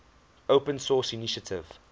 open source initiative